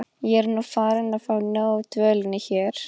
Ég er nú farin að fá nóg af dvölinni hér.